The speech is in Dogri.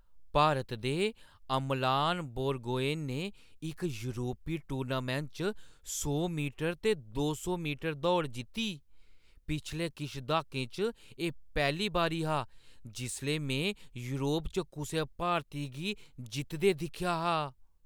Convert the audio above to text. भारत दे अमलान बोरगोहेन ने इक योरपी टूर्नामैंट च सौ मीटर ते दो सौ मीटर दौड़ जित्ती। पिछले किश द्हाकें च एह् पैह्‌ली बारी हा जिसलै में योरप च कुसै भारती गी जितदे दिक्खेआ हा।